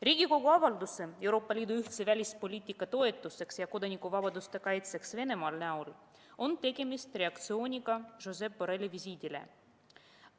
Riigikogu avalduse "Euroopa Liidu ühtse välispoliitika toetuseks ja kodanikuvabaduste kaitseks Venemaal" puhul on tegemist reaktsiooniga Josep Borrelli visiidile.